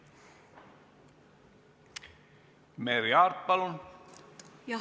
Merry Aart, palun!